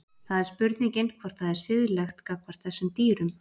Það er spurningin hvort það er siðlegt gagnvart þessum dýrum.